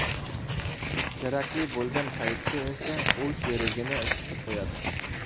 Kerakli bo‘lgan paytda esa u sherigini isitib qo‘yadi.